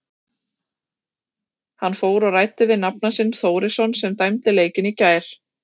Hann fór og ræddi við nafna sinn Þórisson sem dæmdi leikinn í gær.